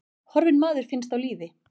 Horfinn maður finnst á lífi